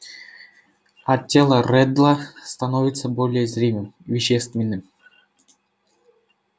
а тело реддла становится более зримым вещественным